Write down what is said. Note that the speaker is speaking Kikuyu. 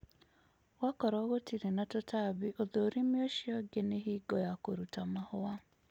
gwakorũo gũtĩrĩ na tũtambĩ, ũthũrĩmĩ ũcĩo ũngĩ nĩ hĩngo ya kũrũta mahũa.